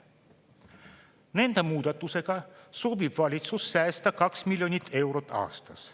Nende muudatustega soovib valitsus säästa kaks miljonit eurot aastas.